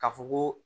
Ka fɔ koo